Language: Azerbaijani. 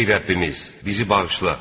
Ey Rəbbimiz, bizi bağışla.